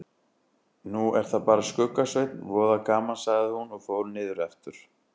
Nú er það bara Skugga-Sveinn, voða gaman sagði hún og fór niður aftur.